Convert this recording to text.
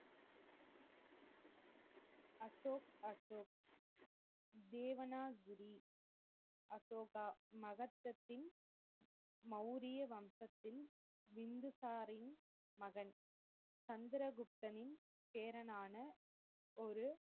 தேவனாக் கிரி அசோகா மகத்தத்தின் மவுரிய வம்சத்தில் வின்துசாரின் மகன். சந்திர குப்தனின் பேரனான ஒரு,